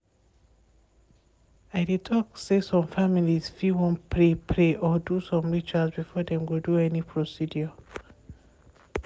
i dey talk say some families fit wan pray pray or do some rituals before dem go do any procedure.